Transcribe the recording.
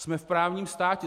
Jsme v právním státě.